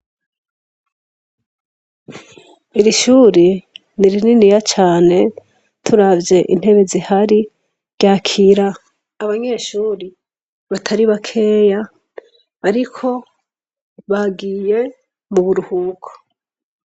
Iri shure nirininiya cane turavye intebe zihari ryakira abanyeshure batari bakeya ariko bagiye m'uburuhuko.